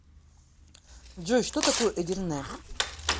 джой что такое эдирне